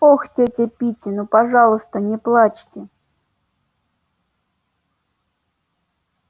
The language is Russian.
ох тётя питти ну пожалуйста не плачьте